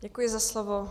Děkuji za slovo.